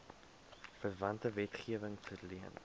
verwante wetgewing verleen